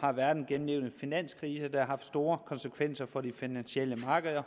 har verden gennemlevet en finanskrise der har haft store konsekvenser for de finansielle markeder